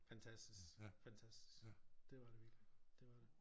Fantastisk fantastisk det var det virkelig det var det